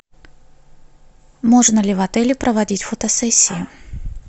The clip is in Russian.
можно ли в отеле проводить фотосессию